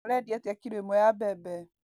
ũrendĩa atĩa kĩlo ĩmwe ya mbembe